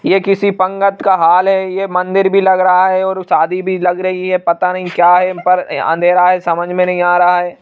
यह किसी पंगत का हॉल है ये मंदिर भी लग रहा है और शादी भी लग रही है पता नहीं क्या है पर अंधेरा है समझ में नहीं आ रहा है।